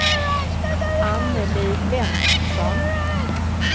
Anneli Lennartsson